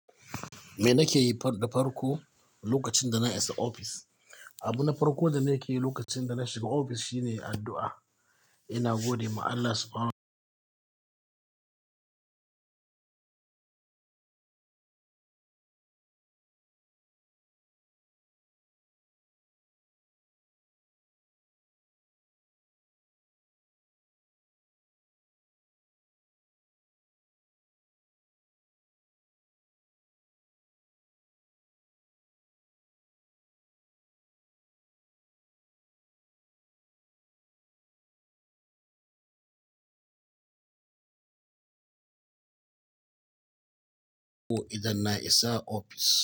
Me nakeyi da farko lokacin da na isa ofis. Abu na farko da nake yi lokacin da na shiga ofis shine addu'a. Ina gode ma Allah Subha-nahu isa ofis.